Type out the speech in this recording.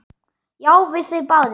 Já, við þau bæði.